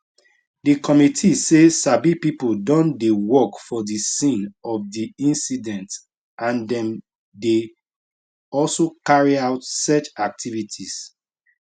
di committee say sabi pipo don dey work for di scene of di incident and dem dey also carry out search activities